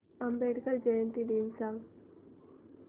आंबेडकर जयंती दिन सांग